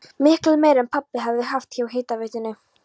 Miklu meira en pabbi hafði haft hjá hitaveitunni!